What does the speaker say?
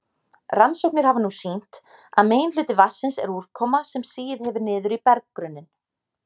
Rannsóknir hafa nú sýnt að meginhluti vatnsins er úrkoma sem sigið hefur niður í berggrunninn.